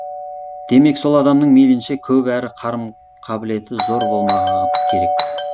демек сол адамның мейлінше көп әрі қарым қабілеті зор болмағы керек